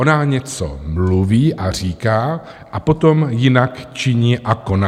Ona něco mluví a říká, a potom jinak činí a koná.